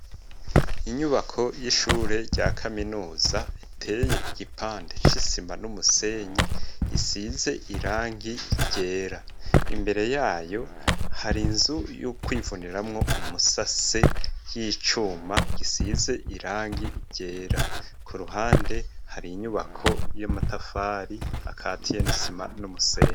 Inyubako y'ishure rya kaminuza iteye igipande c'isima n'umusenyi isize irangi ryera imbere yayo hari inzu yo kwivuniramwo umusase y'icuma gisize irangi ryera ku ruhande hari inyubako y'amatafari akatiye n'isima n'umusenyi.